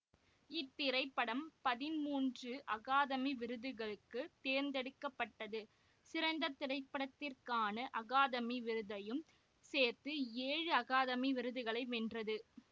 இத்திரைப்படம் பதிமூன்று அகாதமி விருதுகளுக்கு தேர்ந்தெடுக்க பட்டது சிறந்த திரைப்படத்திற்கான அகாதமி விருதையும் சேர்த்து ஏழு அகாதமி விருதுகளை வென்றது